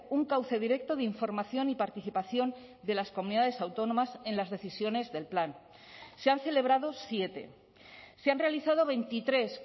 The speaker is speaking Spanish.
un cauce directo de información y participación de las comunidades autónomas en las decisiones del plan se han celebrado siete se han realizado veintitrés